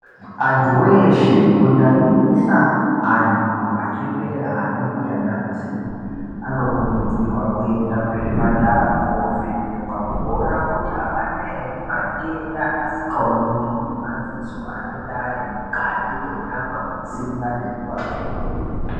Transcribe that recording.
Anthu weshe kunyanyisa anthu achembera ana mbuya nana sekuru anokurudzirwa kuenda kuzvipatara koovhenekwa kuona kuti avana ere matenda asikaoneki ngemadziso anonga ari mukati mwenyama, mutsinga nemumakodo.